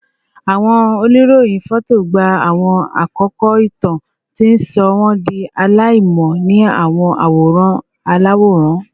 Awọn oniroyin fọto gba awọn akoko itan, ti n sọ wọn di alaimọ ni awọn aworan alaworan